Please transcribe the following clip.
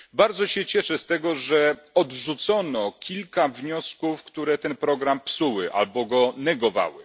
Bardzo się cieszę, że odrzucono kilka wniosków, które ten program psuły albo go negowały.